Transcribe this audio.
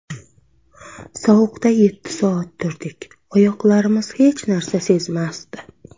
Sovuqda yetti soat turdik, oyoqlarimiz hech narsani sezmasdi.